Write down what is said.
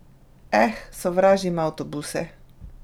Eh, sovražim avtobuse!